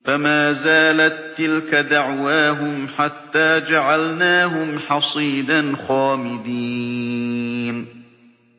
فَمَا زَالَت تِّلْكَ دَعْوَاهُمْ حَتَّىٰ جَعَلْنَاهُمْ حَصِيدًا خَامِدِينَ